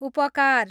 उपकार